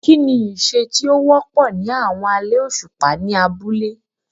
Kí ni iṣẹ́ tí ó wọ́pọ̀ ní àwọn alẹ́ òṣùpá ní abúlé?